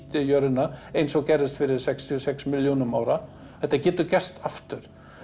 jörðina eins og gerðist fyrir sextíu og sex milljónum ára þetta getur gerst aftur